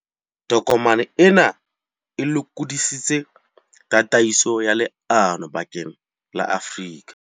Tokomane ena e lokodisitse tataiso ya leano bakeng la Afrika.